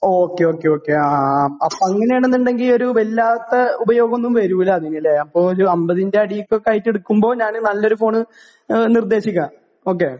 Okay okay okay. ആ ആ. അങ്ങനെയാണെന്ന് ഉണ്ടെങ്കിൽ ഒരു വല്ലാത്ത ഉപയോഗം ഒന്നും വരുന്നില്ല അല്ലേ? ഒരു 50 അടിയിൽ ഒക്കെ ആയിട്ട് എടുക്കുമ്പോൾ ഞാന് നല്ലൊരു ഫോൺ നിർദ്ദേശിക്കാം. ഓക്കേ?